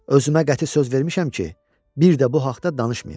Özümə qəti söz vermişəm ki, bir də bu haqda danışmayım.